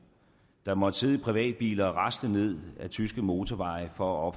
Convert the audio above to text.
der måtte sidde i privatbiler og rasle ned ad tyske motorveje for at